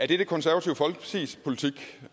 det konservative folkepartis politik